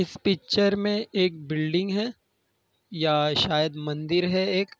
इस पिक्चर में एक बिल्डिंग है। या शायद मंदिर है एक।